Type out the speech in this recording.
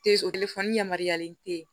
o telefɔni yamaruyalen te yen